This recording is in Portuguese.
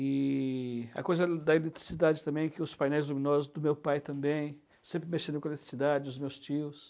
E a coisa da eletricidade também, que os painéis luminosos do meu pai também, sempre mexendo com a eletricidade, os meus tios.